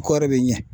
Kɔɔri bɛ ɲɛ